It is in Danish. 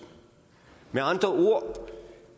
med andre ord